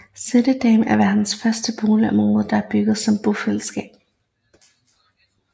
Sættedammen er verdens første boligområde der er bygget som bofællesskab